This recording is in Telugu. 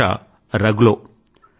వీరి భాష రగ్లో